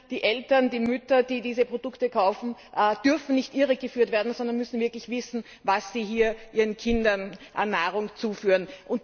Die Eltern, die Mütter, die diese Produkte kaufen, dürfen nicht irregeführt werden, sondern müssen wirklich wissen, was sie ihren Kindern an Nahrung zuführen.